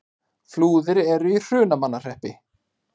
Flúðir er í Hrunamannahreppi.